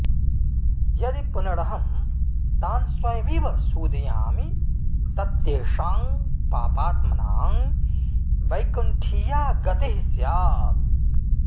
यदि पुनरहं तान्स्वयमेव सूदयामि तत्तेषां पापात्मनां वैकुण्ठीया गतिः स्यात्